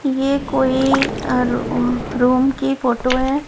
ये कोई अ रुह रूम की फोटो है।